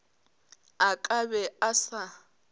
a ka be a sa